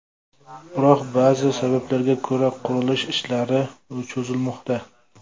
Biroq, ba’zi sabablarga ko‘ra qurilish ishlari cho‘zilmoqda.